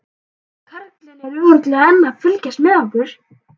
Nei, karlinn er örugglega enn að fylgjast með okkur.